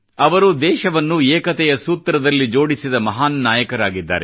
ಅವರು ದೇಶವನ್ನು ಏಕತೆಯ ಸೂತ್ರದಲ್ಲಿ ಜೋಡಿಸಿದ ಮಹಾನ್ ನಾಯಕರಾಗಿದ್ದಾರೆ